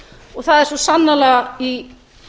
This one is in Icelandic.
og það er svo sannarlega í